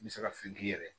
N bɛ se ka fɛn k'i yɛrɛ ye